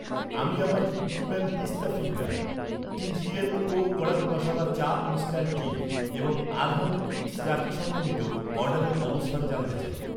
আমি আমার, Cookieman pista finger , TGL Co Kadak Masala Cha instant tea এবং আরহাম কিডস রাখি, সমন্বিত অর্ডারের অবস্থান জানতে চাই